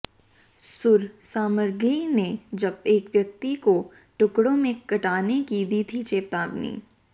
सुर साम्राज्ञी ने जब एक व्यक्ति को टुकड़ों में काटने की दी थी चेतावनी